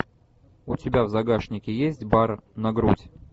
у тебя в загашнике есть бар на грудь